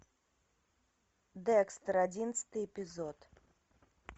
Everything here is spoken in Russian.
декстер одиннадцатый эпизод